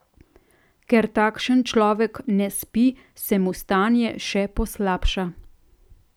Ker takšen človek ne spi, se mu stanje še poslabša.